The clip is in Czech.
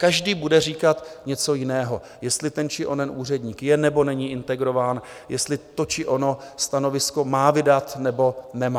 Každý bude říkat něco jiného - jestli ten či onen úředník je nebo není integrován, jestli to či ono stanovisko má vydat nebo nemá.